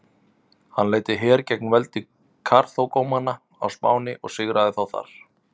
Hann leiddi her gegn veldi Karþagómanna á Spáni og sigraði þá þar.